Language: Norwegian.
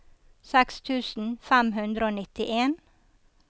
seks tusen fem hundre og nittien